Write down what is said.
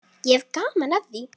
Ég hef gaman af því.